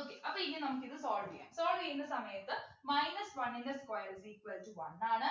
okay അപ്പൊ ഇനി നമുക്കിത് solve ചെയ്യാം solve ചെയ്യുന്ന സമയത്ത് minus one ൻ്റെ square is equal to one ആണ്